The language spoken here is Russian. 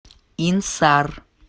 инсар